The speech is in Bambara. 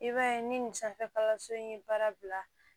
I b'a ye ni nin sanfɛ kalanso in ye baara bila